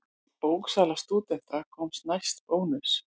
Bóksala stúdenta komst næst Bónus.